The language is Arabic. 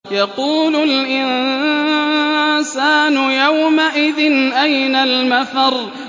يَقُولُ الْإِنسَانُ يَوْمَئِذٍ أَيْنَ الْمَفَرُّ